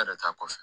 E yɛrɛ t'a kɔfɛ